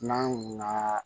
N'an na